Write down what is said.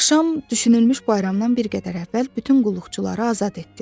Axşam düşünülmüş bayramdan bir qədər əvvəl bütün qulluqçuları azad etdi.